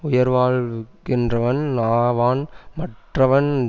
உயிர்வாழ்கின்றவன் ஆவான் மற்றவன்